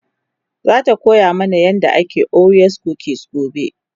zata koya mana yadda ake orwa kukis gobe